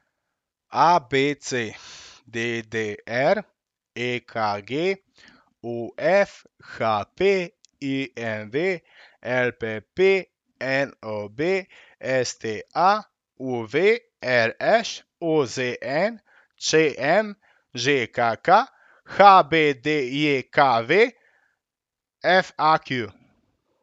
A B C; D D R; E K G; O F; H P; I M V; L P P; N O B; S T A; U V; R Š; O Z N; Č M; Ž K K; H B D J K V; F A Q.